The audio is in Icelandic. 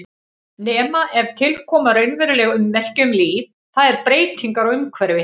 Nema ef til koma raunveruleg ummerki um líf, það er breytingar á umhverfi.